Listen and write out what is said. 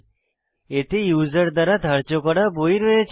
এতে ইউসার দ্বারা ধার্য করা বই রয়েছে